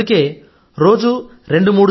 అందుకే రోజూ రెండు